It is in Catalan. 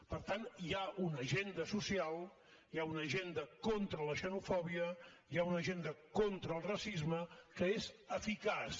per tant hi ha una agenda social hi ha una agenda contra la xenofòbia hi ha una agenda contra el racisme que és eficaç